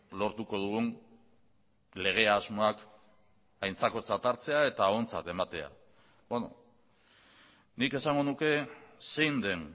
lortuko dugun lege asmoak aintzakotzat hartzea eta ontzat ematea nik esango nuke zein den